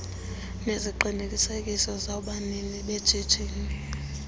neziqinisekiso zabanini beshishini